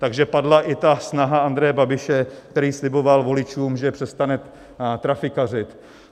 Takže padla i ta snaha Andreje Babiše, který sliboval voličům, že přestane trafikařit.